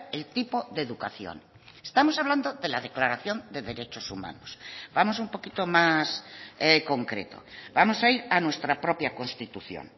el tipo de educación estamos hablando de la declaración de derechos humanos vamos un poquito más concreto vamos a ir a nuestra propia constitución